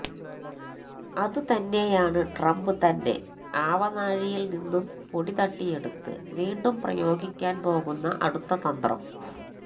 അതുതന്നെയാണ് ട്രംപ് തന്നെ ആവനാഴിയിൽ നിന്നും പൊടിതട്ടിയെടുത്ത് വീണ്ടും പ്രയോഗിക്കാൻ പോകുന്ന അടുത്ത തന്ത്രം